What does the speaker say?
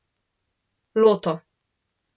Loto.